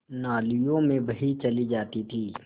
नालियों में बही चली जाती थी